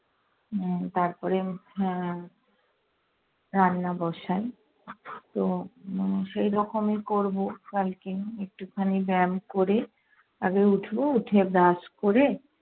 উম তারপরে হম রান্না বসাই। তো উম সেই রকমই করবো কালকে। একটুখানি ব্যায়াম করে আগে উঠবো, উঠে brush করে